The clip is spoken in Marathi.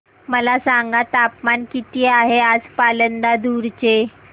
मला सांगा तापमान किती आहे आज पालांदूर चे